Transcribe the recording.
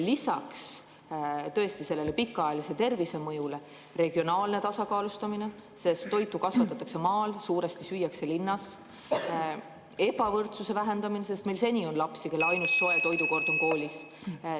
Lisaks pikaajalisele tervisemõjule tekib siin regionaalne tasakaalustamine, sest toitu kasvatatakse maal, aga suuresti süüakse linnas, ka ebavõrdsuse vähendamine, sest meil on lapsi , kelle ainus soe toidukord on koolis.